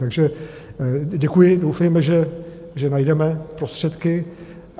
Takže děkuji, doufejme, že najdeme prostředky.